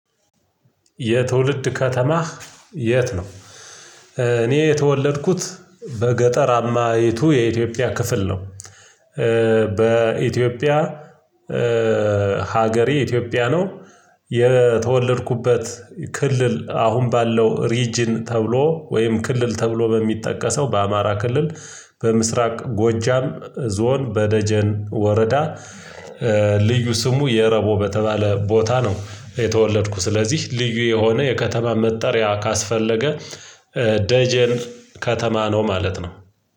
የትውልድ ከተማህ የት ነው? እኔ የተወለድኩት በገጠር አማይቱ የኢትዮጵያ ክፍል ነው። በኢትዮጵያ ሀገሬ ኢትዮጵያ ነው። የተወለድኩበት ክልል አሁን ባለው ሪጅን ተብሎ ወይም ክልል ተብሎ በሚጠቀሰው በአማራ ክልል በምስራቅ ጎጃም ዞን በደጀን ወረዳ። ልዩ ስሙ የረቦ በተባለ ቦታ ነው የተወለድኩ። ስለዚህ ልዩ የሆነ የከተማ መጠሪያ ካስፈለገ። ደጀን ከተማ ነው ማለት ነው።